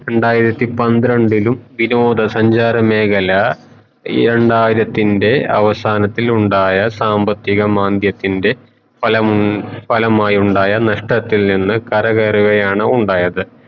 രണ്ടായിരത്തി പന്ത്രണ്ടിലും വിനോദ സഞ്ചാര മേഖല രണ്ടായിരത്തിന്റെ അവസാനത്തിലുണ്ടായ സാമ്പത്തിക മാന്ദ്യത്തിന്റെ ഫലമു ഫലമായുണ്ടായ നഷ്ടത്തിൽ നിന്ന് കര കേറുകയാണു ഉണ്ടായത്